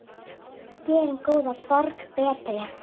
Gerum góða borg betri.